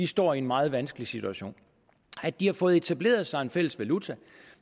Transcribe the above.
står i en meget vanskelig situation at de har fået etableret sig en fælles valuta